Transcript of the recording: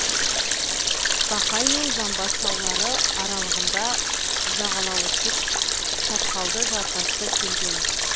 бақай мен жамбас таулары аралығында жағалауы тік шатқалды жартасты келген